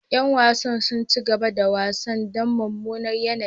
Yan wasan sun ki cigaba da wasan dan mumunar yanayi.